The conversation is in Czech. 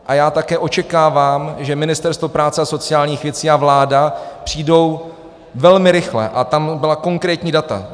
A já také očekávám, že Ministerstvo práce a sociálních věcí a vláda přijdou velmi rychle, a tam byla konkrétní data.